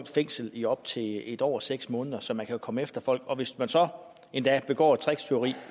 fængsel i op til en år og seks måneder så man kan jo komme efter folk og hvis man så endda begår et tricktyveri